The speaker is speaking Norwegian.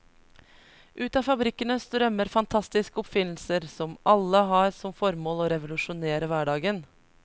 Ut av fabrikkene strømmer fantastiske oppfinnelser som alle har som formål å revolusjonere hverdagen.